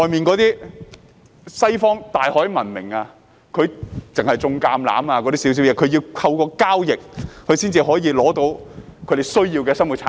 在西方大海文明下，他們只懂種植橄欖，需要透過交易才可獲取其他生活必需品。